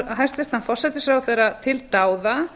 hæstvirtan forsætisráðherra til dáða